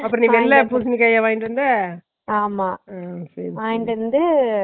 அப்பறோ நீ வெள்ள பூசினிக்கா வா வாங்கிட்டு வந்த சேரிசேரி